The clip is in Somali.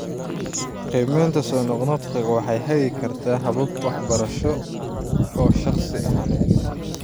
Qiimaynta soo noqnoqda waxay hagi kartaa habab waxbarasho oo shakhsi ahaaneed.